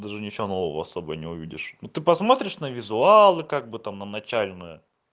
даже ничего нового особо не увидишь ну ты посмотришь на визуалы как бы там на начальную